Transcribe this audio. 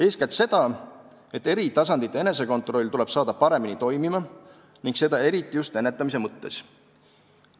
Eeskätt seda, et eri tasandite enesekontroll tuleb saada paremini toimima ning seda eriti just ennetamise mõttes.